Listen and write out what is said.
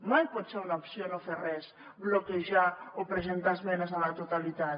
mai pot ser una opció no fer res bloquejar o presentar esmenes a la totalitat